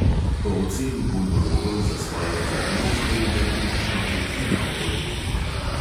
Po oceni pulmologov za svojo diagnozo ve le približno tretjina obolelih.